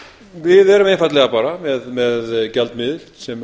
við erum einfaldlega bara með gjaldmiðil sem